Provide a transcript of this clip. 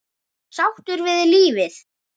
Sáttur við lífið.